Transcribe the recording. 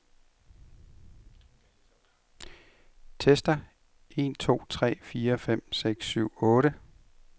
Tester en to tre fire fem seks syv otte.